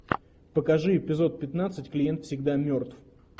покажи эпизод пятнадцать клиент всегда мертв